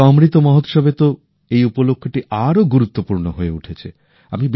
এইবার অমৃত মহোৎসবএ তো এই উপলক্ষটি আরো গুরুত্বপূর্ণ হয়ে উঠেছে